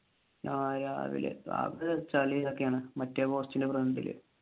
ആഹ് രാവിലെ അത് ചളി ഒക്കെയാണ് മറ്റേ പോസ്റ്റിന്റെ front ഇൽ